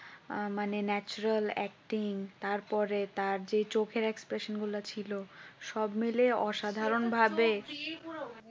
আঁ মানে natural এ Acting তারপরে তার চেয়ে চোখের একটি Express গুলা ছিল সব মিলে অসাধারণ ভাবে